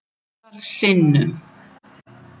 Ótal sinnum.